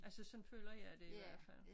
Altså sådan føler jeg det i hvert fald